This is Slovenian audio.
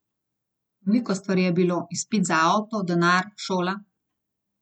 Veliko stvari je bilo, izpit za avto, denar, šola.